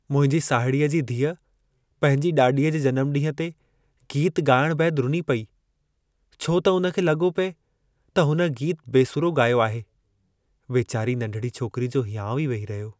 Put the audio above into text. मुंहिंजी साहिड़ीअ जी धीअ पंहिंजी ॾाॾीअ जे जन्मॾींहं गीतु ॻाइणु बैदि रुनी पिए, छो त हुन खे लॻो पिए त हुन गीतु बेसुरो ॻायो आहे। वेचारी नंढड़ी छोकिरी जो हियांउ ई वेही रहियो।